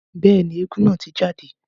Bẹ́ẹ̀ni, éégún naa ti jade.